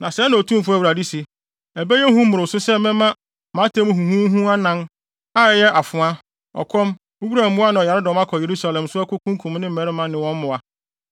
“Na sɛɛ na Otumfo Awurade se: Ɛbɛyɛ hu mmoroso sɛ mɛma mʼatemmu huhuhuhu anan, a ɛyɛ afoa, ɔkɔm, wuram mmoa ne ɔyaredɔm akɔ Yerusalem so akokunkum ne mmarima ne wɔn mmoa!